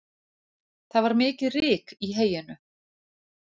Það var mikið ryk í heyinu